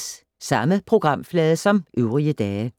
Samme programflade som øvrige dage